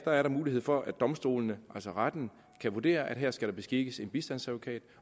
er der mulighed for at domstolene altså retten kan vurdere at her skal der beskikkes en bistandsadvokat